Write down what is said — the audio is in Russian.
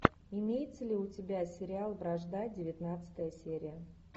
имеется ли у тебя сериал вражда девятнадцатая серия